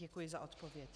Děkuji za odpověď.